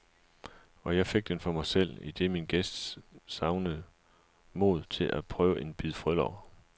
Og jeg fik den for mig selv, idet min gæst savnede mod til at prøve en bid frølår.